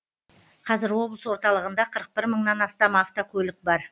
қазір облыс орталығында қырық бір мыңнан астам автокөлік бар